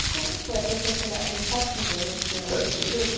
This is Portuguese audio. E como é que foi até o senhor chegar em Itatiba, né, que foi a última agência? Itatiba